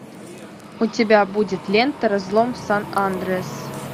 у тебя будет лента разлом сан андреас